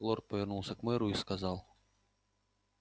лорд повернулся к мэру и сказал